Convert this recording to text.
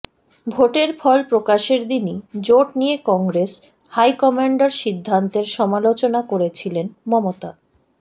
ভোটের ফল প্রকাশের দিনই জোট নিয়ে কংগ্রেস হাইকম্যান্ডের সিদ্ধান্তের সমালোচনা করেছিলেন মমতা